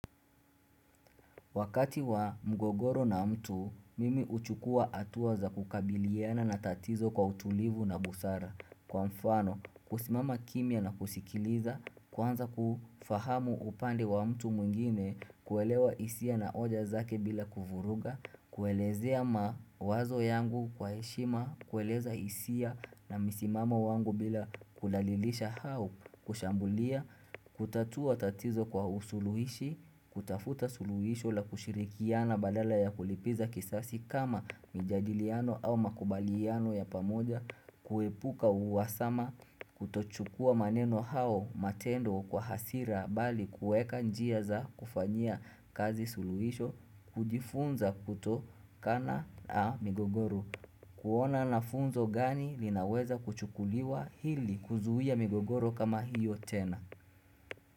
Wakati wa mgogoro na mtu, mimi uchukua hatua za kukabiliana na tatizo kwa utulivu na busara. Kwa mfano, kusimama kimya na kusikiliza, kwanza kufahamu upandi wa mtu mwingine, kuelewa hisia na hoja zake bila kuvuruga, kuelezea ma wazo yangu kwa heshima, kueleza hisia na misimamo wangu bila kulalilisha au kushambulia, kutatua tatizo kwa usuluhishi, kutafuta suluhisho la kushirikiana badala ya kulipiza kisasi kama mijadiliano au makubaliano ya pamoja kuepuka uwasama kutochukua maneno au matendo kwa hasira bali kuweka njia za kufanyia kazi suluhisho kujifunza kutokana na migogoro kuona na funzo gani linaweza kuchukuliwa ili kuzuia migogoro kama hiyo tena.